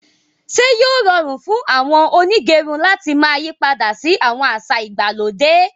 Ṣe yóò rọrun fún àwọn onígẹrun làti máa yípadà sí àwọn àṣà ìgbàlódé?